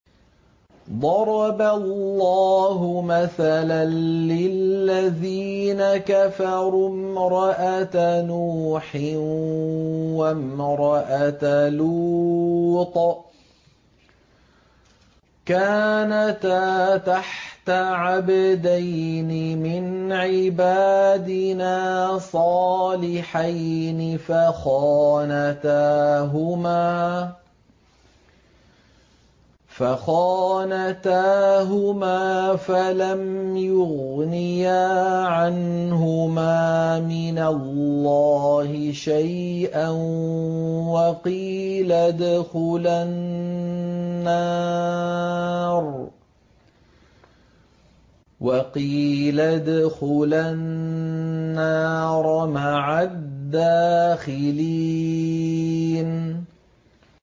ضَرَبَ اللَّهُ مَثَلًا لِّلَّذِينَ كَفَرُوا امْرَأَتَ نُوحٍ وَامْرَأَتَ لُوطٍ ۖ كَانَتَا تَحْتَ عَبْدَيْنِ مِنْ عِبَادِنَا صَالِحَيْنِ فَخَانَتَاهُمَا فَلَمْ يُغْنِيَا عَنْهُمَا مِنَ اللَّهِ شَيْئًا وَقِيلَ ادْخُلَا النَّارَ مَعَ الدَّاخِلِينَ